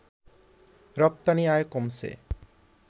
রপ্তানি আয় কমছে